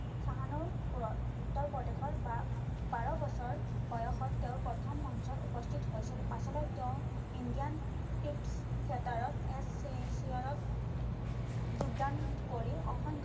চাহানুপুৰত উত্তৰপ্ৰদেশৰ বা~বাৰ বছৰ বয়সত তেওঁ প্ৰথম মঞ্চত উপস্থিত হৈছিল পাছলৈ তেওঁ ইণ্ডিয়ান স্পীট থিয়েটাৰত যোগদান কৰি অসংখ্য